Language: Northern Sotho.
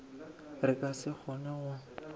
re ka se kgone go